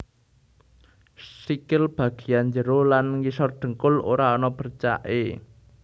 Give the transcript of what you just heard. Sikil bagéyan njero lan ngisor dhengkul ora ana bercaké